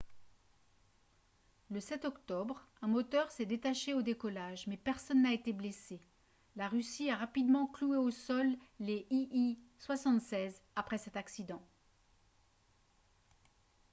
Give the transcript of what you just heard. le 7 octobre un moteur s'est détaché au décollage mais personne n'a été blessé la russie a rapidement cloué au sol les il-76 après cet accident